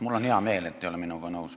Mul on hea meel, et te pole minuga nõus.